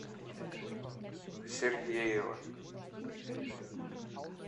сергеева